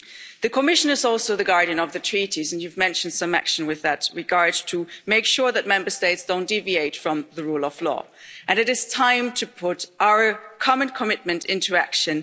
The Commission is also the guardian of the Treaties, and you mentioned some action in that regard to make sure that Member States don't deviate from the rule of law, and it is time to put our common commitment into action.